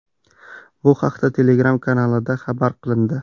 Bu haqda Telegram kanalida xabar qilindi .